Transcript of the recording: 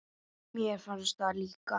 Mér fannst það líka.